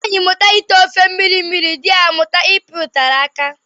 Nwaanyị mụta ite ofe mmiri mmiri, dị ya amụta ịpị ụtara aka